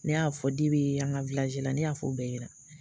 Ne y'a fɔ an ka la, ne y'a fɔ u bɛɛ ɲɛna.